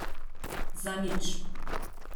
Za nič!